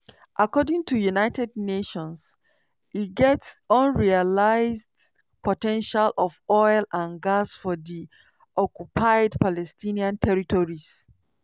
according to united nations e get unrealised po ten tial of oil and gas for di occupied palestinian territories.